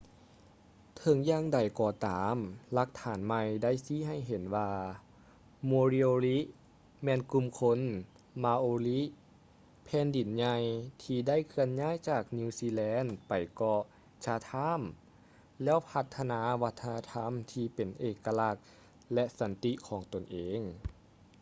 ເຖິງຢ່າງໃດກໍຕາມ ຫຼັກຖານໃໝ່ໄດ້ຊີ້ໃຫ້ເຫັນວ່າ moriori ແມ່ນກຸ່ມຄົນ maori ແຜ່ນດິນໃຫຍ່ທີ່ໄດ້ເຄື່ອນຍ້າຍຈາກນິວຊີແລນໄປເກາະ chatham ແລ້ວພັດທະນາວັດທະນະທຳທີ່ເປັນເອກະລັກ ແລະ ສັນຕິຂອງຕົນເອງ